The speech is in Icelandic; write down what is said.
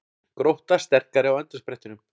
Grótta sterkari á endasprettinum